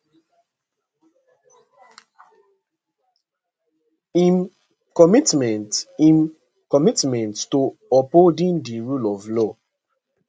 im commitment im commitment to upholding di rule of law